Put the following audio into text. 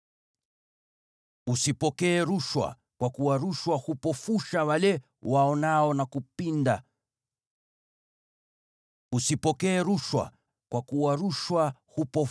“Usipokee rushwa, kwa kuwa rushwa hupofusha wale waonao, na kupinda maneno ya wenye haki.